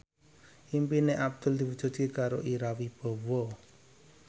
impine Abdul diwujudke karo Ira Wibowo